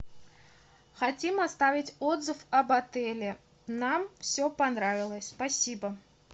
хотим оставить отзыв об отеле нам все понравилось спасибо